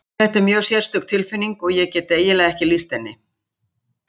Þetta er mjög sérstök tilfinning og ég get eiginlega ekki lýst henni.